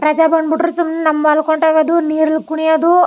ರಜೆ ಬಂದ್ ಬಿಟ್ಟ್ರೆ ಸುಮ್ಮನೆ ಮಲಕೊಂಡೆ ಇರೋದು ನೀರ್ ಕುಣಿಯೋದು.